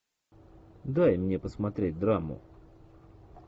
дай мне посмотреть драму